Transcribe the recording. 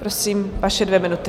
Prosím, vaše dvě minuty.